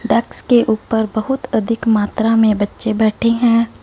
डेक्स के ऊपर बहुत अधिक मात्रा में बच्चे बैठे हैं।